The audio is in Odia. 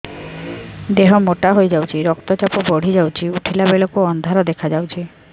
ଦେହ ମୋଟା ହେଇଯାଉଛି ରକ୍ତ ଚାପ ବଢ଼ି ଯାଉଛି ଉଠିଲା ବେଳକୁ ଅନ୍ଧାର ଦେଖା ଯାଉଛି